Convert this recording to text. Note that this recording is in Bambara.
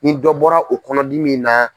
Nin dɔ bɔra o kɔnɔdi min na.